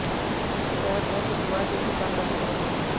इसकी शिकायत वह शुक्रवार डीसी कांगड़ा से करेंगे